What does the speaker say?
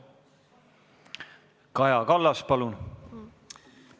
Kaja Kallas, palun!